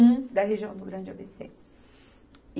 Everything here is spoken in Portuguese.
Um da região do Grande A Bê Cê.